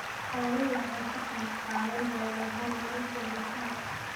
Xooluhu waxay ka qayb qaadan doonaan horumarinta bulshada.